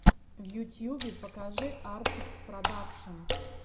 в ютьюбе покажи артикс продакшн